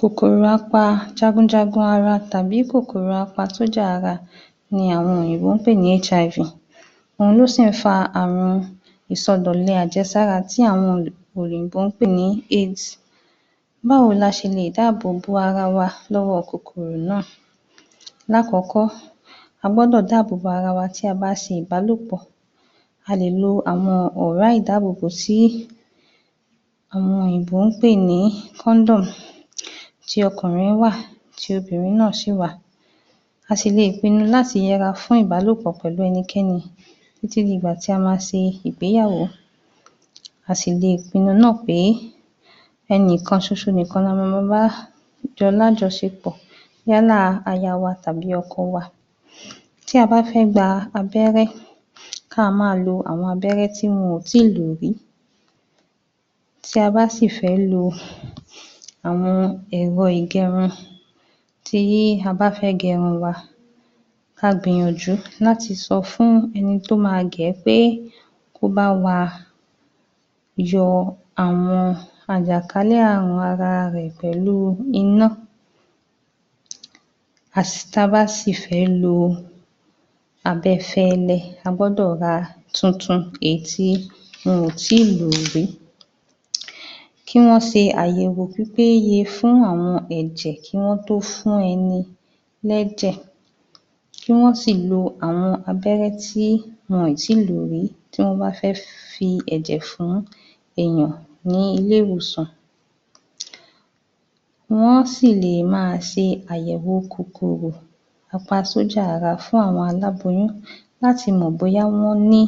Kòkòrò apa Jagunjagun ara tàbí kòkòrò apa sójà ara ni àwọn òyìnbó ń pè ní HIV. Òhun ló sì ń fa àwọn ìsọdọ̀lẹ abẹ́rẹ́-àjẹsára tí àwọn um òyìnbó ń pè ní éèdì. Báwo la ṣe lè dáàbò bo ara wa lọ́wọ́ kòkòrò náà, lákọ̀ọ́kọ́ a gbọ́dọ̀ dáàbò bo ara wa tí a bá ṣe ìbálòpọ̀, a lè lo àwọn ọ̀rá ìdáàbò bò tí àwọn òyìnbó ń pè ní kọ́ńdọ́ọ̀mù, ti ọkùnrin wà ti obìnrin náà sì wà, a sì leè pinnu láti yẹra fún ìbálòpọ̀ pẹ̀lú ẹnikẹni títí di ìgbà tí a máa ṣe ìgbéyàwó. A sì leè pinnu náà pé ẹnìkan ṣoṣo nìkan la mama bá jọ lájọṣepọ̀ yálà aya wa tàbí tàbí ọkọ wa. Tí a bá fẹ́ gba abẹ́rẹ́ káa máa lo àwọn abẹ́rẹ́ tí wọn ò tíì lò rí, tí a bá sì fẹ́ lo àwọn ẹ̀rọ-ìgẹrun tí a bá fẹ́ gẹrun wa, ka gbìyànjú láti sọ fún ẹni tó máa gẹ̀ẹ́ pé kó bá wa yọ àwọn àjàkálẹ̀ ààrùn ara rẹ̀ pẹ̀lú iná. um ta bá sì fẹ́ lo abẹfẹ́lẹ́ a gbọ́dọ̀ ra tuntun èyí tí wọn ò tíì lò rí kí wọ́n ṣe àyẹ̀wò pípéye fún àwọn ẹ̀jẹ̀ kí wọ́n tó fún ẹni lẹ́jẹ̀, kí wọ́n sì lo àwọn abẹ́rẹ́ tí wọn ì tíì lò rí tí wọ́n bá fẹ́ fi ẹ̀jẹ̀ fún èèyàn ní ilé ìwòsàn. Wọ́n á sì lè máa ṣe àyẹ̀wòo kòkòrò apa sójà ara fún àwọn aláboyún láti mọ̀ bóyá wọ́n ní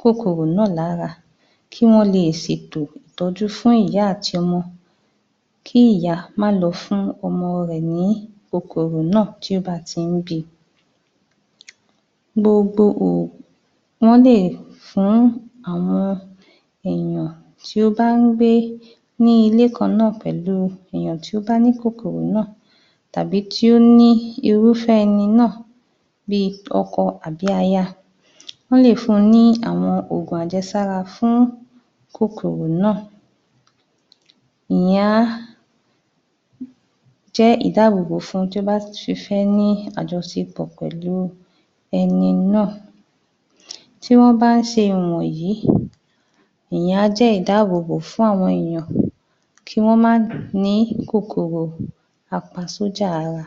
Kòkòrò náà lára kí wọ́n leè ṣètò ìtọ́jú fún ìyá àti ọmọ, kí ìyá má lọ fún ọmọ rẹ̀ ní kòkòrò náà tí ó bá ti ń bíi. Gbogbo ò, wọ́n lè fún àwọn èèyàn tí ó bá ń gbé ní ilé kan náà pẹ̀lúu èèyàn tí ó bá ní kòkòrò náà tàbí tí ó ní irúfẹ́ ẹni náà bíi ọkọ tàbí aya, wọ́n lè fún un ní àwọn òògùn àjẹsára fún kòkòrò náà ìyẹn á jẹ́ ìdáàbò bò fun tí ó bá ti fẹ́ ní àjọṣepọ̀ pẹ̀lúu ẹni náà. Tí wọ́n bá ń ṣe ìwọ̀nyí ìyẹn á jẹ́ ìdáàbò bò fún àwọn èèyàn kí wọ́n má nìí kòkòrò apa sójà ara.